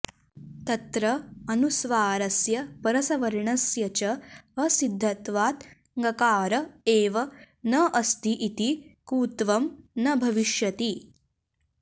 तत्र अनुस्वारस्य परसवर्णस्य च असिद्धत्वात् ञकार एव न अस्ति इति कुत्वं न भविष्यति